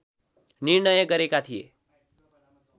निर्णय गरेका थिए